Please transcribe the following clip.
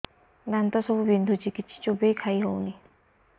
ଦାନ୍ତ ସବୁ ବିନ୍ଧୁଛି କିଛି ଚୋବେଇ ଖାଇ ହଉନି